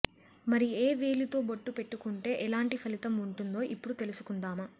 మరి ఏ వేలితో బొట్టు పెట్టుకుంటే ఎలాంటి ఫలితం ఉంటుందో ఇప్పుడు తెలుసుకుందామా